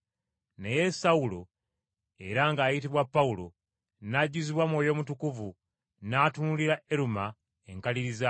Naye Sawulo, era ng’ayitibwa Pawulo, n’ajjuzibwa Mwoyo Mutukuvu, n’atunuulira Eruma enkaliriza,